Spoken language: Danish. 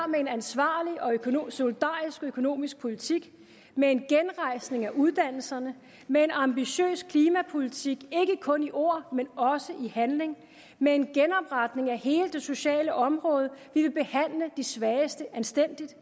med en ansvarlig og solidarisk økonomisk politik med en genrejsning af uddannelserne med en ambitiøs klimapolitik ikke kun i ord men også i handling med en genopretning af hele det sociale område vi vil behandle de svageste anstændigt